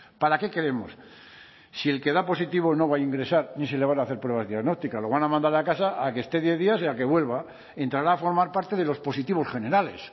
para qué queremos si el que da positivo no va a ingresar ni se le van a hacer pruebas diagnósticas lo van a mandar a casa a que esté diez días y a que vuelva entrará a formar parte de los positivos generales